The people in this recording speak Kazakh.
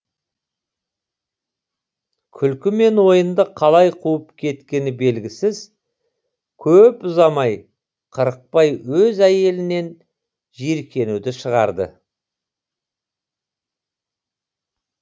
күлкі мен ойынды қалай қуып кеткені белгісіз көп ұзамай қырықбай өз әйелінен жиіркенуді шығарды